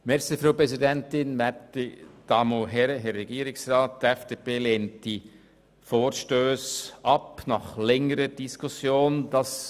Die FDP lehnt diese Vorstösse nach längeren Diskussionen ab.